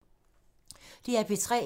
DR P3